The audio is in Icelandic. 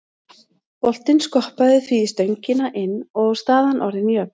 Boltinn skoppaði því í stöngina inn og staðan orðin jöfn.